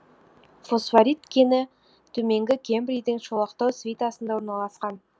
фосфорит кені төменгі кембрийдің шолақтау свитасында орналасқан